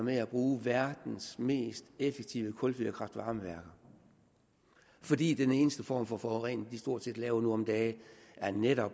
med at bruge verdens mest effektive kulfyrede kraft varme værker fordi den eneste form for forurening de stort set laver nu om dage netop